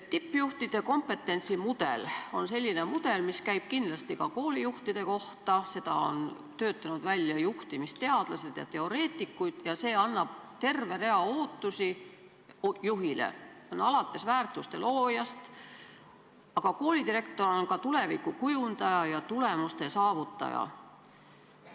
Tippjuhtide kompetentsimudel on selline mudel, mis käib kindlasti ka koolijuhtide kohta, selle on töötanud välja juhtimisteadlased ja -teoreetikud ning see esitab juhile terve rea ootusi: ta peab olema väärtuste looja, aga ka tuleviku kujundaja ja tulemuste saavutaja.